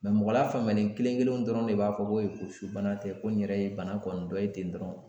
mɔgɔ la faamuyalen kelen kelen dɔrɔn de b'a fɔ, ko ee ko su bana tɛ ko n yɛrɛ ye bana kɔni dɔ ye ten dɔrɔn.